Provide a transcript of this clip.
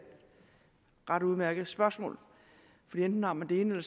ret udmærket spørgsmål for enten har man det ene